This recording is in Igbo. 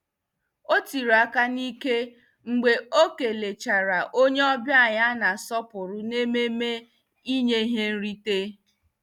O tiiri aka n'ike mgbe o kelechara onye ọbịa a na-asọpụrụ n'ememe inye ihe nrite.